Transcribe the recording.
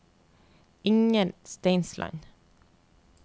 Inger Steinsland